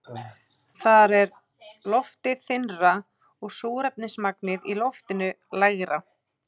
Þar er loftið þynnra og súrefnismagnið í loftinu lægra.